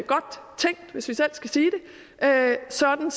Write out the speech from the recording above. godt tænkt hvis vi selv skal sige det sådan